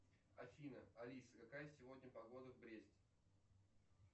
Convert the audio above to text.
афина алиса какая сегодня погода в бресте